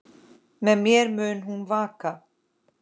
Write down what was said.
Með mér mun hún vaka.